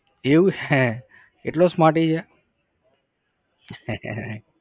એવું હે એટલો smarty છે?